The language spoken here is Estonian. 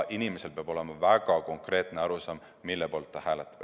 Inimesel peab olema väga konkreetne arusaam, mille poolt ta hääletab.